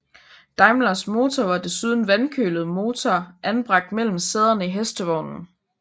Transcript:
Daimlers motor var desuden vandkølet motor anbragt mellem sæderne i hestevognen